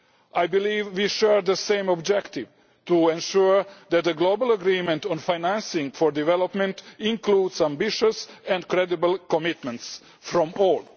I believe we share the same objective to ensure that the global agreement on financing for development includes ambitious and credible commitments from